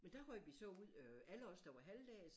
Men der røg vi så ud øh alle os der var halvdags